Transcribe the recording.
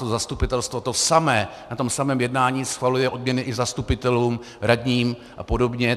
To zastupitelstvo, to samé, na tom samém jednání schvaluje odměny i zastupitelům, radním a podobně.